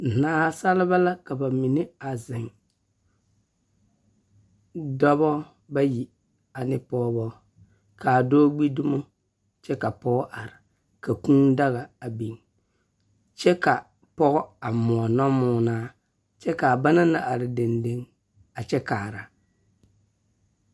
Nasaaba la ka ba mine a zeŋ, dɔbɔ bayi ane pɔgebɔ, ka a dɔɔ gbi dumo, kyɛ ka pɔgɔ are, ka kūū daga biŋ, kyɛ ka a pɔge a moɔ nɔmoɔnaa , kyɛ ka a banna are dendeŋe a kyɛ kaara.